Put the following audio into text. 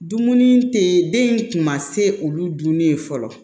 Dumuni te yen den in kun ma se olu dun ye fɔlɔ